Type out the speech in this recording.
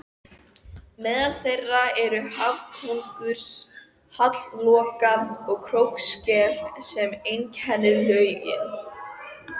Meðal þeirra eru hafkóngur, hallloka og krókskel sem einkennir lögin.